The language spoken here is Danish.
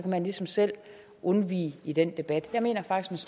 ligesom selv undvige den debat jeg mener faktisk